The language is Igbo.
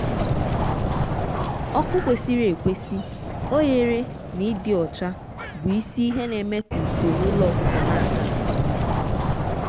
ọkụ kwesịrị ekwesị oghere na ịdị ọcha bụ isi ihe na-eme ka usoro ụlọ ọkụkọ na-aga nke ọma.